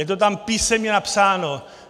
Je to tam písemně napsáno.